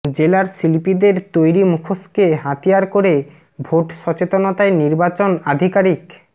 জেলার শিল্পীদের তৈরি মুখোশকে হাতিয়ার করে ভোট সচেতনতায় নির্বাচন আধিকারিক